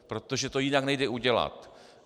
Protože to jinak nejde udělat.